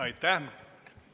Aitäh!